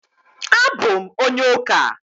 A bụ m onye ụka